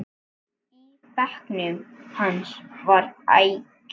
Í bekknum hans var agi.